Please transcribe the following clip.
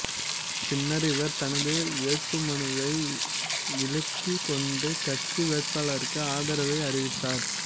பின்னர் இவர் தனது வேட்புமனுவை விளக்கிக்கொண்டு கட்சி வேட்பாளருக்கு ஆதரவை அறிவித்தார்